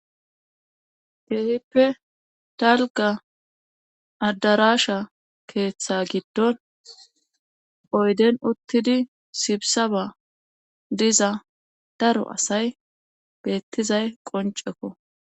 Keehippe dalgga adarasha keeththa gidon oyden uttidi sibisaban diza daro asay beetizay qonccekko.